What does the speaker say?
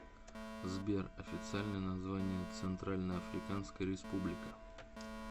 сбер официальное название центральноафриканская республика